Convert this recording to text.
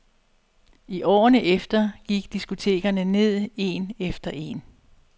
I årene efter gik diskotekerne ned en efter en.